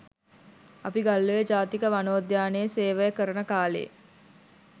අපි ගල්ඔය ජාතික වනෝද්‍යානයේ සේවය කරන කාලේ